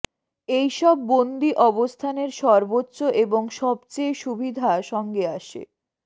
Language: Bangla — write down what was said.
এই সব বন্দী অবস্থানের সর্বোচ্চ এবং সবচেয়ে সুবিধা সঙ্গে আসে